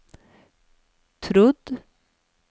trodd